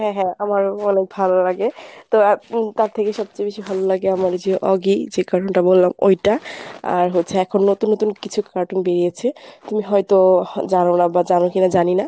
হ্যাঁ হ্যাঁ আমারো অনেক ভালো লাগে তো তার থেকে সবচেয়ে বেশি ভালো লাগে আমার যে oggy যে cartoon টা বললাম ঐটা আর হচ্ছে এখন নতুন নতুন কিছু cartoon বেরিয়েছে তুমি হয়ত জানো না বা জানো কিনা জানি না।